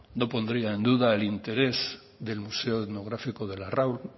no pondría en duda el interés del museo etnográfico de larraul